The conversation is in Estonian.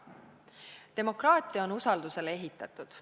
Demokraatia on usaldusele ehitatud.